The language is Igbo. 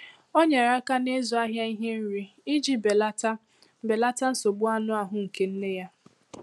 O nyere aka n'ịzụ ahịa ihe nri iji belata belata nsogbu anụ ahụ nke nne ya.